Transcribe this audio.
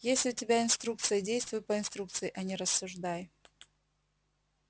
есть у тебя инструкция и действуй по инструкции а не рассуждай